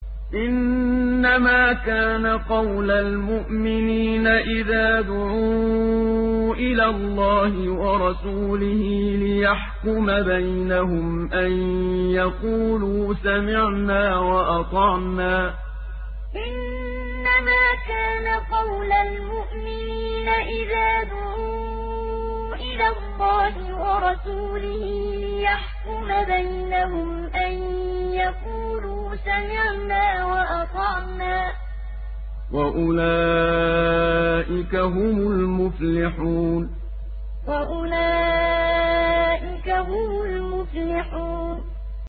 إِنَّمَا كَانَ قَوْلَ الْمُؤْمِنِينَ إِذَا دُعُوا إِلَى اللَّهِ وَرَسُولِهِ لِيَحْكُمَ بَيْنَهُمْ أَن يَقُولُوا سَمِعْنَا وَأَطَعْنَا ۚ وَأُولَٰئِكَ هُمُ الْمُفْلِحُونَ إِنَّمَا كَانَ قَوْلَ الْمُؤْمِنِينَ إِذَا دُعُوا إِلَى اللَّهِ وَرَسُولِهِ لِيَحْكُمَ بَيْنَهُمْ أَن يَقُولُوا سَمِعْنَا وَأَطَعْنَا ۚ وَأُولَٰئِكَ هُمُ الْمُفْلِحُونَ